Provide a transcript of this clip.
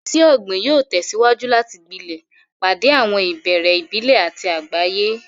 Iṣẹ́ ọ̀gbìn yóò tẹ̀síwájú láti gbilẹ̀, pàdé àwọn ìbéèrè ìbílẹ̀ àti àgbáyé.